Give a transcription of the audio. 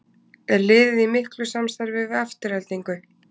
Er liðið í miklu samstarfi við Aftureldingu?